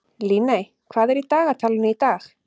Líney, hvað er í dagatalinu í dag?